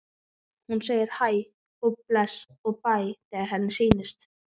Hún segir hæ og bless og bæ þegar henni sýnist!